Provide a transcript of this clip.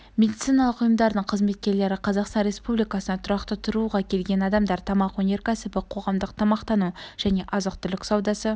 медициналық ұйымдардың қызметкерлері қазақстан республикасына тұрақты тұруға келген адамдар тамақ өнеркәсібі қоғамдық тамақтану және азық-түлік саудасы